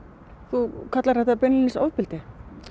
þú kallar þetta beinlínis ofbeldi